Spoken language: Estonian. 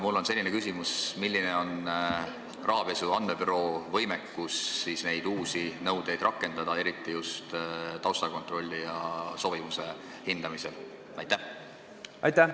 Mul on selline küsimus: milline on rahapesu andmebüroo võimekus neid uusi nõudeid rakendada, eriti just tausta kontrollimisel ja sobivuse hindamisel?